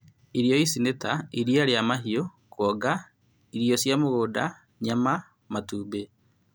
Irio ici nĩ ta: iria rĩa mahiũ, kuonga, irio cia mũgũnda, nyama, matumbĩ